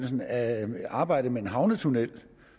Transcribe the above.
arbejdet med en havnetunnel